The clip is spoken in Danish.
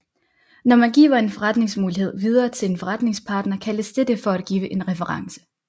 Når man giver en forretningsmulighed videre til en forretningspartner kaldes dette for at give en reference